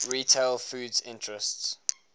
retail foods interests